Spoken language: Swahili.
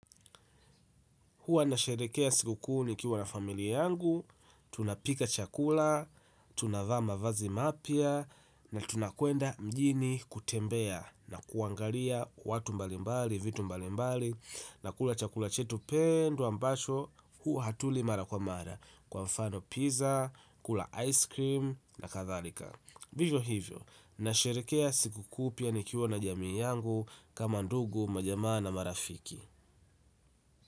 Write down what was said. Huwa nasherehekea sikukuu nikiwa na familia yangu, tunapika chakula, tunavaa mavazi mapya, na tunakwenda mjini kutembea na kuangalia watu mbalimbali, vitu mbalimbali, na kula chakula chetu pendwa ambacho huwa hatuli mara kwa mara kwa mfano pizza, kula ice cream na kadhalika. Vivyo hivyo, nasherehekea sikukuu pia nikiwa na jamii yangu kama ndugu majamaa na marafiki.